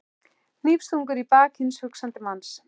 Hnífstungur í bak hins hugsandi manns.